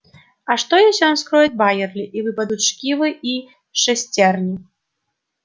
а что если он вскроет байерли и выпадут шкивы и шестерни